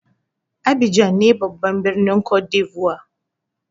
Abidjan ne babban birnin côte d'lvoire.